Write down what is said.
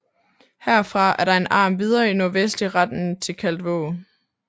Herfra er der en arm videre i nordvestlig retning til Kaldvåg